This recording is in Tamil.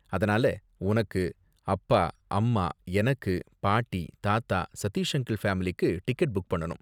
அதனால உனக்கு, அப்பா, அம்மா, எனக்கு, பாட்டி, தாத்தா, சதீஷ் அங்கிள் ஃபேமிலிக்கு டிக்கெட் புக் பண்ணனும்.